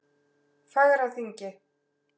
Fagraþingi